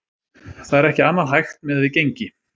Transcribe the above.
Það er ekki annað hægt miðað við gengi.